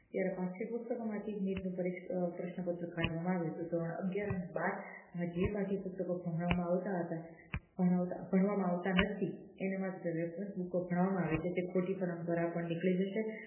જયારે પાઠ્યપુસ્તક માં થી નીટ નું પ્રશ્નપત્ર કાઢવામાં આવ્યું હતું ધોરણ અગિયાર અને બાર માં જે પાઠ્યપુસ્તક ભણવામા હતા ભણવામાં આવતા નથી એના માં ભણવામા આવે છે એ ખોટી પરંપરા પણ નીકળી જશે